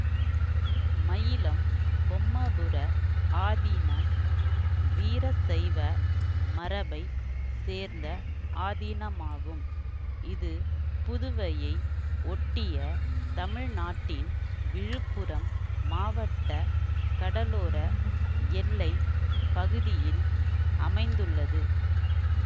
மயிலம் பொம்மபுர ஆதீனம் வீரசைவ மரபை சேர்ந்த ஆதீனமாகும் இது புதுவையை ஒட்டிய தமிழ்நாட்டின் விழுப்புரம் மாவட்ட கடலோர எல்லை பகுதியில் அமைந்துள்ளது